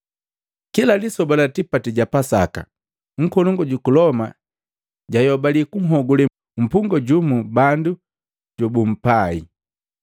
Kila lisoba la tipati ja Pasaka, nkolongu juku Loma jayobali kunhuhogule mpungwa jumu bandu babumpai.